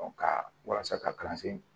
ka walasa ka kalansen